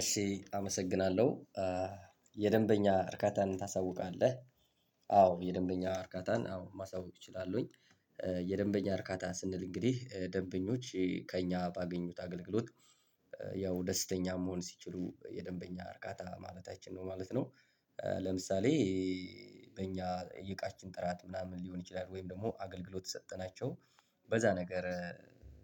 እሺ አመሰግናለሁ። የደንበኛ እርካታን ታሳውቃለህ? አዎ የደንበኛ እርካታን አዎ ማስታወቅ እችላለሁኝ። የደንበኛ እርካታን ስንል እንግዲህ ደንበኞች ከእኛ ባገኙት አገልግሎት ያው ደስተኛ መሆን ሲችሉ የደንበኛ እርካታ ማለታችን ነው ማለት ነው። ለምሳሌ በእኛ የዕቃችን ጥራት ምናምን ሊሆን ይችላል፣ ወይም ደግሞ አገልግሎት የሰጠናቸው በዛ ነገር